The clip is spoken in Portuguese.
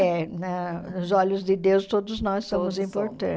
É, na nos olhos de Deus todos nós somos